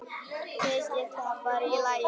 Þykir það bara í lagi.